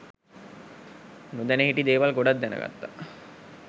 නොදැන හිටි දේවල් ගොඩක් දැනගත්තා